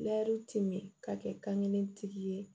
ti mɛ ka kɛ kan kelentigi ye